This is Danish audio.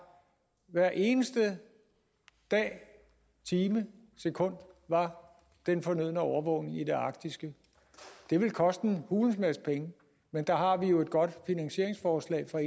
hver eneste dag time og sekund var den fornødne overvågning i det arktiske det ville koste en hulens masse penge men der har vi jo et godt finanseringsforslag fra